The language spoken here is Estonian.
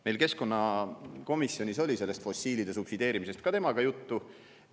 Meil keskkonnakomisjonis oli sellest fossiilide subsideerimisest temaga juttu.